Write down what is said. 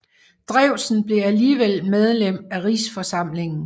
Drewsen blev alligevel medlem af Rigsforsamlingen